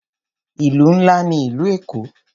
Ìlú ńlá ní ìlú Èkó.